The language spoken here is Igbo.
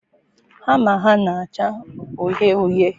hama a na-acha uhie uhie?